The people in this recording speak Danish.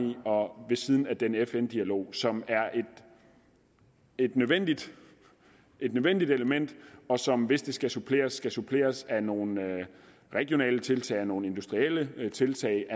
og ved siden af den fn dialog som er et nødvendigt et nødvendigt element og som hvis det skal suppleres skal suppleres af nogle regionale tiltag og nogle industrielle tiltag